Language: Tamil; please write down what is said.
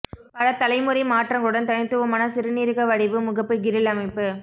பல தலைமுறை மாற்றங்களுடன் தனித்துவமான சிறுநீரக வடிவ முகப்பு கிரில் அமைப்பு